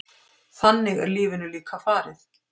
Þannig er lífinu líka farið.